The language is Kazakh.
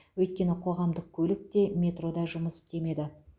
өйткені қоғамдық көлік те метро да жұмыс істемеді